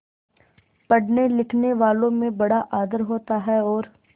पढ़नेलिखनेवालों में बड़ा आदर होता है और